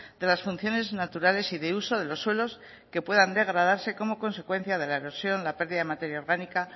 de las funciones naturales y de uso de los suelos que puedan degradarse como consecuencia de la erosión de la pérdida de materia orgánica